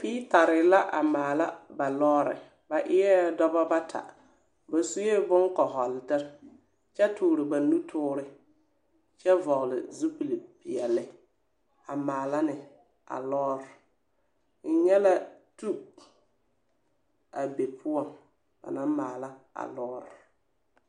Feetare la a maala ba lɔɔre. Ba eɛ dɔbɔ bata. Ba sue bone kɔhɔletere kyɛ toore ba nutoore kyɛvɔgele zupili peɛle a maala ne a lɔɔre. N nyɛla tub a be poɔ ba naŋ maala a lɔɔre.